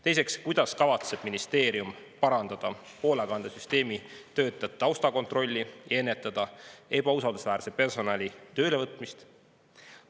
Teiseks, kuidas kavatseb ministeerium parandada hoolekandesüsteemi, töötajate taustakontrolli ja ennetada ebausaldusväärse personali tööle võtmist?